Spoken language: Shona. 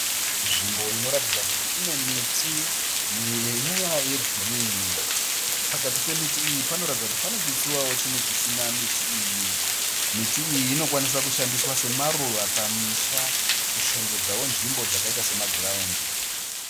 Nzvimbo inoratidza kuti inemiti yegirinhi. Pakati pemiti iyi panoratidza kuti panechitsuwawo chimwe chisina miti iyi. Miti iyi inokwanisa kushandiswa semaruva pamisha kushongedzawo nzvimbo dzakaita semagiraundi.